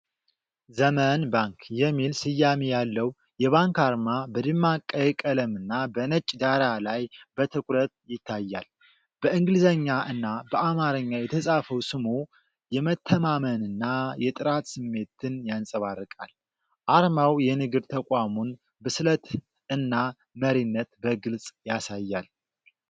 "ዘመን ባንክ" የሚል ስያሜ ያለው የባንክ አርማ በደማቅ ቀይ ቀለምና በነጭ ዳራ ላይ በትኩረት ይታያል። በእንግሊዝኛ እና በአማርኛ የተጻፈው ስሙ የመተማመንና የጥራት ስሜትን ያንጸባርቃል። አርማው የንግድ ተቋሙን ብስለት እና መሪነት በግልጽ ያሳያል።